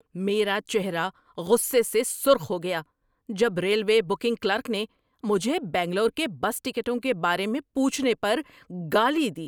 میرا چہرہ غصے سے سرخ ہو گیا جب ریلوے بکنگ کلرک نے مجھے بنگلور کے بس ٹکٹوں کے بارے میں پوچھنے پر گالی دی۔